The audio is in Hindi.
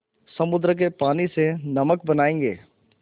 समुद्र के पानी से नमक बनायेंगे